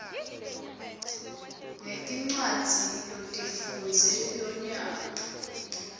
ngetincwadzi lotifundze lonyaka